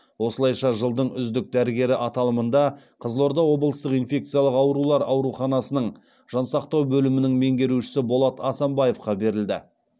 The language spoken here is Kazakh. осылайша жылдың үздік дәрігері аталымында қызылорда облыстық инфекциялық аурулар ауруханасының жансақтау бөлімінің меңгерушісі болат асанбаевқа берілді